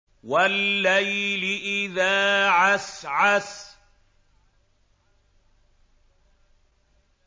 وَاللَّيْلِ إِذَا عَسْعَسَ